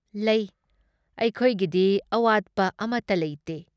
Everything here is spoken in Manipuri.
ꯂꯩ꯫ ꯑꯩꯈꯣꯏꯒꯤꯗꯤ ꯑꯋꯥꯠꯄ ꯑꯃꯇ ꯂꯩꯇꯦ꯫